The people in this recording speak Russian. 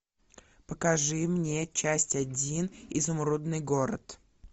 покажи мне часть один изумрудный город